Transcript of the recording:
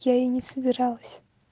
я и не собиралась